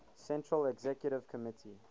central executive committee